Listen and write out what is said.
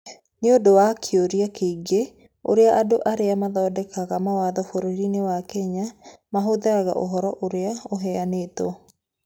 Nĩ ũndũ wa kĩũria kĩgiĩ ũrĩa andũ arĩa mathondekaga mawatho bũrũri-inĩ wa Kenya mahũthagĩra ũhoro ũrĩa ũheanĩtwo.